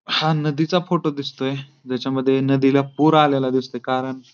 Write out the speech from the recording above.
हा नदी चा फोटो दिसतोय ज्याच्यामध्ये नदीला पुर आलेला दिसतोय कारण--